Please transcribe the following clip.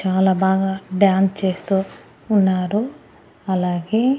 చాలా బాగా డాన్స్ చేస్తూ ఉన్నారు అలాగే.